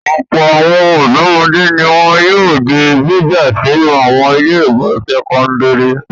Ọ̀pọ̀ àwọn ọ̀dọ́mọdé ni wọn yóò di gbígbà sínú àwọn ilé-ìwé sẹ́kọ́ndárì.